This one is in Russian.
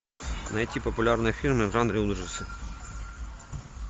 найти популярные фильмы в жанре ужасы